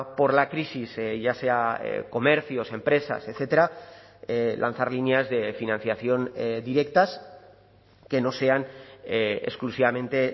por la crisis ya sea comercios empresas etcétera lanzar líneas de financiación directas que no sean exclusivamente